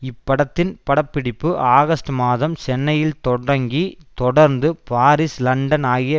இப்படத்தின் படப்பிடிப்பு ஆகஸ்ட் மாதம் சென்னையில் தொடங்கி தொடர்ந்து பாரீஸ் லண்டன் ஆகிய